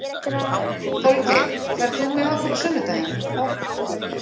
Holgeir, ferð þú með okkur á sunnudaginn?